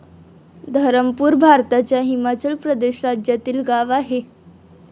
धरमपूर भारताच्या हिमाचल प्रदेश राज्यातील गाव आहे.